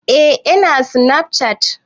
Eh ina sinafcat